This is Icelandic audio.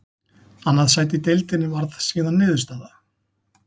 Annað sæti í deildinni varð síðan niðurstaða.